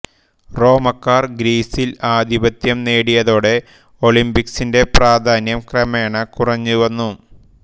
റോമക്കാർ ഗ്രീസിൽ ആധിപത്യം നേടിയതോടെ ഒളിമ്പിക്സിന്റെ പ്രാധാന്യം ക്രമേണ കുറഞ്ഞ് വന്നു